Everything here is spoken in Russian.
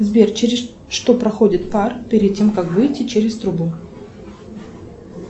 сбер через что проходит пар перед тем как выйти через трубу